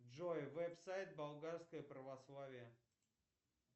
джой веб сайт болгарское православие